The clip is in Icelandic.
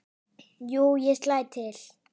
Jú, ég slæ til